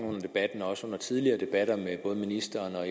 under debatten også under tidligere debatter med ministeren og